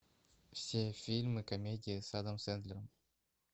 все фильмы комедии с адамом сэндлером